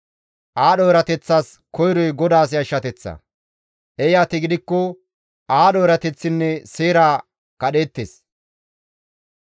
Aadho erateththas koyroy GODAAS yashshateththa; eeyati gidikko aadho erateththinne seera kadheettes.